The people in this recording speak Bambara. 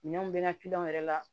Minɛnw bɛ na kiliyanw yɛrɛ la